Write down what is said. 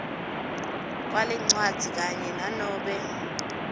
kwalencwadzi kanye nanobe